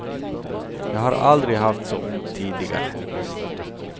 Jag har aldrig haft så ont tidigare.